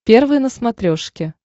первый на смотрешке